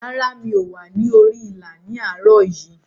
Rárá, mi ò wà ní orí ìlà ní àárọ̀ yìí.